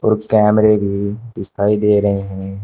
और कैमरे भी दिखाई दे रहे हैं।